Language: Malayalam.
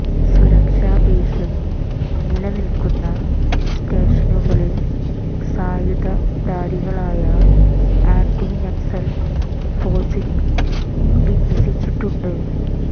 സുരക്ഷാ ഭീഷണി നിലനിൽക്കുന്ന സ്റ്റേഷനുകളിൽ സായുധ ധാരികളായ ആന്റി നക്സൽ ഫോഴ്സിനെ വിന്യസിച്ചിട്ടുണ്ട്